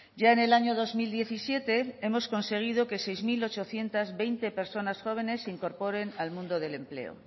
ya en el año dos mil diecisiete hemos conseguido que seis mil ochocientos veinte personas jóvenes se incorporen al mundo del empleo